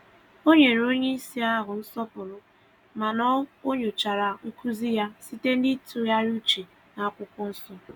Ọ nyere onyeisi ahụ nsọpụrụ mana o nyochara nkuzi ya site na itughari uche na n'akwụkwọ nsọ